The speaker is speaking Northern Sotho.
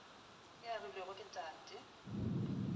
ye e agilwe ke tate